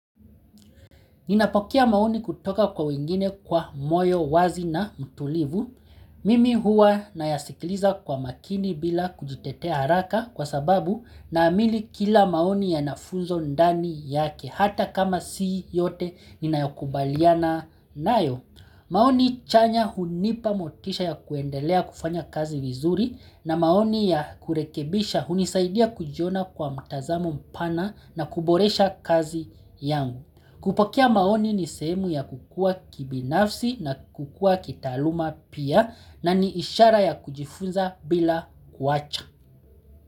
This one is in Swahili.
Ninapokea maoni kutoka kwa wengine kwa moyo wazi na mtulivu. Mimi hua nayasikiliza kwa makini bila kujitetea haraka kwa sababu naamini kila maoni yanafunzo ndani yake hata kama sii yote ninayokubaliana nayo. Maoni chanya hunipa motisha ya kuendelea kufanya kazi vizuri na maoni ya kurekebisha hunisaidia kujiona kwa mtazamo mpana na kuboresha kazi yangu. Kupokea maoni ni sehemu ya kukua kibinafsi na kukua kitaaluma pia na ni ishara ya kujifunza bila kuwacha.